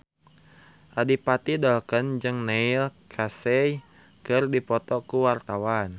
Adipati Dolken jeung Neil Casey keur dipoto ku wartawan